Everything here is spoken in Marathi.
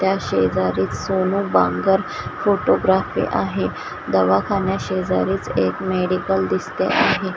त्या शेजारी च सोनू बांगर फोटोग्राफी आहे दवाखान्या शेजारीच एक मेडिकल दिसते आहे.